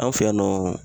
An fɛ yan nɔ